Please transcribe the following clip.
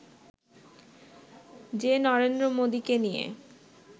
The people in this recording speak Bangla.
যে নরেন্দ্র মোদিকে নিয়ে